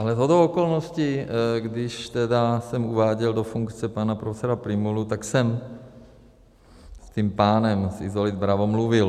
Ale shodou okolností, když tedy jsem uváděl do funkce pana profesora Prymulu, tak jsem s tím pánem z Isolit Bravo mluvil.